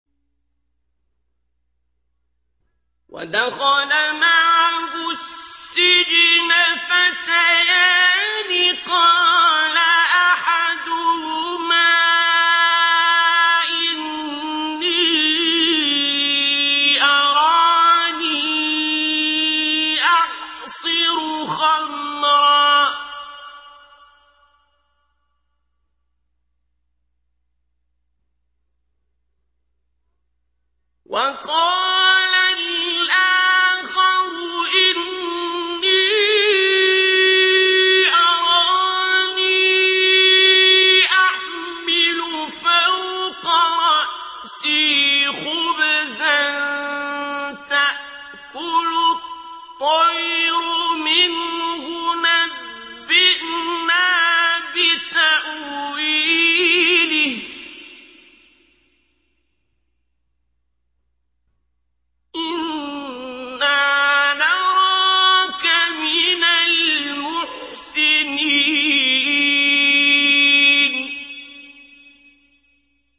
وَدَخَلَ مَعَهُ السِّجْنَ فَتَيَانِ ۖ قَالَ أَحَدُهُمَا إِنِّي أَرَانِي أَعْصِرُ خَمْرًا ۖ وَقَالَ الْآخَرُ إِنِّي أَرَانِي أَحْمِلُ فَوْقَ رَأْسِي خُبْزًا تَأْكُلُ الطَّيْرُ مِنْهُ ۖ نَبِّئْنَا بِتَأْوِيلِهِ ۖ إِنَّا نَرَاكَ مِنَ الْمُحْسِنِينَ